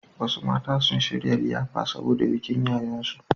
Wasu mata sun shirya liyafa saboda bikin ƴaƴansu.